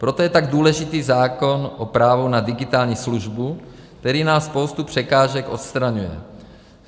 Proto je tak důležitý zákon o právu na digitální službu, který nám spoustu překážek odstraňuje.